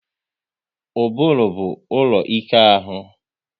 Ụbụrụ bụ ụlọ ike ahụ